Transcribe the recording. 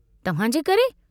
तव्हांजे करे?